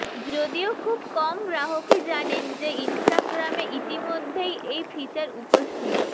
যদিও খুব কম গ্রাহকই ব্জানেন যে ইন্সটাগ্রামে ইতিমধ্যেই এই ফিচার উপস্থিত